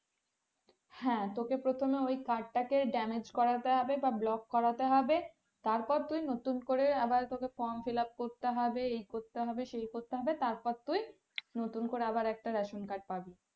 হ্যাঁ তোকে প্রথমে ওই card টাকে damage করাতে হবে বা block করাতে হবে তারপর তুই নতুন করে আবার তোকে from fillup করতে হবে এই করতে হবে সেই করতে হবে তারপর তুই নতুন করে আবার একটা ration card পাবি।